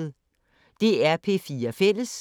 DR P4 Fælles